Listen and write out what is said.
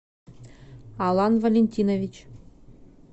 алан валентинович